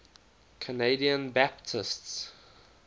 canadian baptists